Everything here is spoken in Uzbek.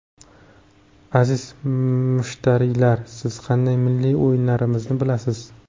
Aziz mushtariylar, siz qanday milliy o‘yinlarimizni bilasiz?